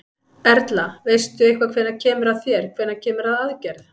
Erla: Veistu eitthvað hvenær kemur að þér, hvenær kemur að aðgerð?